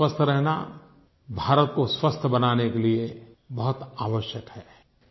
आप का स्वस्थ रहना भारत को स्वस्थ बनाने के लिए बहुत आवश्यक है